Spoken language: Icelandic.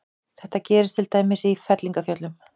Þetta gerist til dæmis í fellingafjöllum.